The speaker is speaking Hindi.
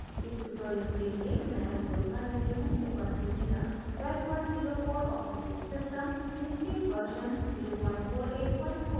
इस tutorial के लिए मैं उपयोग कर रही हूँ ऊबंटु लिनक्स 1204 os